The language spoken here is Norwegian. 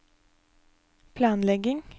planlegging